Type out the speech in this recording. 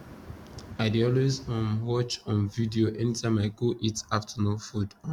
i dey always um watch um video anytime i go eat afternoon food um